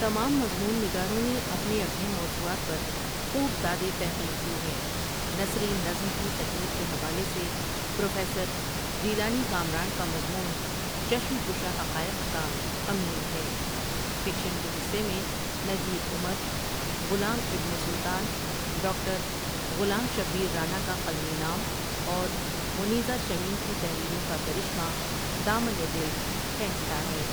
تمام مضمون نگاروں نے اپنے اپنے موضوعات پر خوب دادِ تحقیق دی ہے نثری نظم کی تکنیک کے حوالے سے پروفیسر جیلانی کامران کا مضمون چشم کشا حقائق کا امین ہے فکشن کے حصے میں نجیب عمر، غلام ابن سلطان ڈاکٹر غلام شبیر رانا کا قلمی نام اور منیزہ شمیم کی تحریروں کا کرشمہ دامنِ دِل کھینچتا ہے ۔